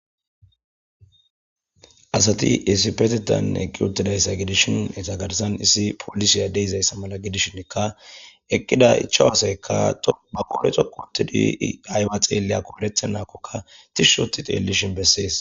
Asati issipetetan eqqi uttidaga gidishin eta garsan issi polisey de'izayisa mala gidishinka eqqida ichawu asayikka ba qodhe dhoqqu ottidi ayiba xelliyako eretenako tishshi otti xellishin besess.